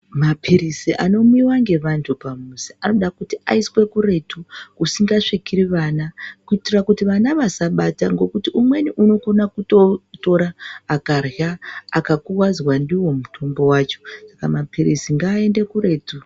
Mapirisi ano mwiwa nge vantu pa muzi anoda kuti aiswe kuretu kusinga svikiri vana kuitira kuti vana vasa bata ngekuti umweni unokona kuto tora akarya aka kuvadzwa ndiwo mutombo wacho saka mapilizi ngaende kuretu.